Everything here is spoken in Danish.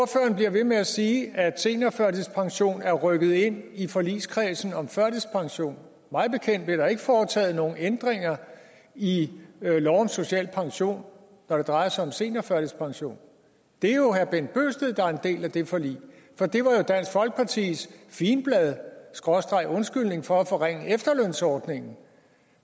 bliver ved med at sige at seniorførtidspension er rykket ind i forligskredsen om førtidspension mig bekendt blev der ikke foretaget nogen ændringer i lov om social pension når det drejer sig om seniorførtidspension det er jo herre bent bøgsted der er en del af det forlig for det var dansk folkepartis figenblad skråstreg undskyldning for at forringe efterlønsordningen